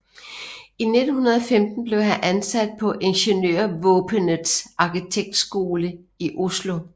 I 1915 blev han ansat på Ingeniørvåpenets arkitektkontor i Oslo